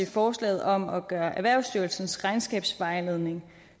forslaget om at gøre erhvervsstyrelsens regnskabsvejledning